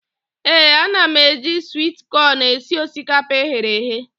Ee, ana m eji swit kọn esi osikapa eghere eghe.